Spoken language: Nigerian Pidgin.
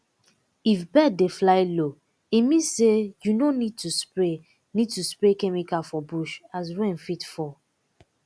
if bird dey fly low e mean say you no need to spray need to spray chemical for bush as rain fit fall